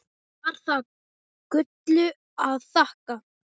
Var það Gullu að þakka.